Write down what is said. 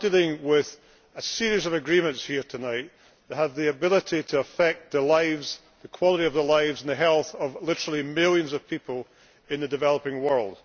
We are dealing with a series of agreements here tonight that have the ability to affect the lives, the quality of the lives and the health of literally millions of people in the developing world.